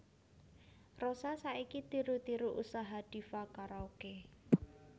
Rosa saiki tiru tiru usaha Diva Karaoke